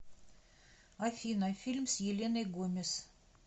афина фильм с еленой гомес